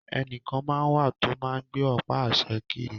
Ẹnìkan máa n wà tó máa n gbé ọ̀pá àṣẹ kiri